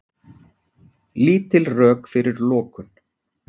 Lítil rök fyrir lokun